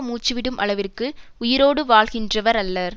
மூச்சு விடும் அளவிற்கும் உயிரோடு வாழ்கின்றவர் அல்லர்